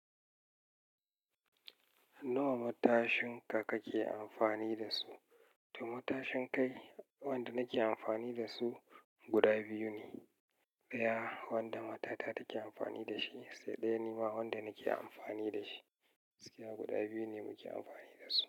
Nawa matashin ka kake amfani da su? To matashin kai wanda nake amfani da su guda biyu ne. Ɗaya wanda matata take amfani da shi sai ɗaya ni ma wanda nake amfani da shi. Gaskiya guda biyu ne muke amfani da su.